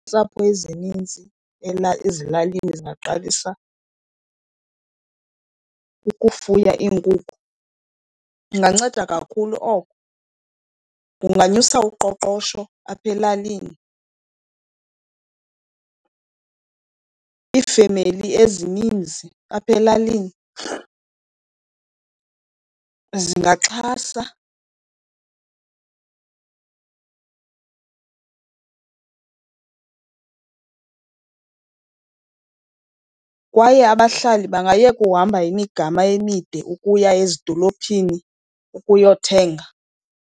Iintsapho ezininzi ezilalini zingaqalisa ukufuya iinkukhu, inganceda kakhulu oko. Kunganyusa uqoqosho apha elalini. Iifemeli ezininzi apha elalini zingaxhasa kwaye abahlali bangayeka uhamba imigama emide ukuya ezidolophini ukuyothenga.